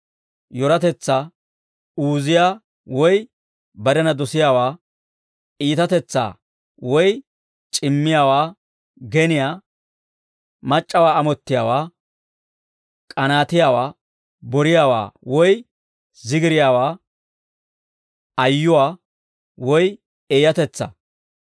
yoratetsaa; uuziyaa woy barena dosiyaawaa; iitatetsaa woy c'immiyaawaa; geniyaa; mac'c'awaa amottiyaawaa; k'anaatiyaawaa; boriyaawaa woy zigiriyaawaa; ayyuwaa; eeyatetsaa.